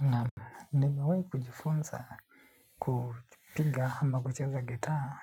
Na nimewai kujifunza kupiga ama kucheza gitaa.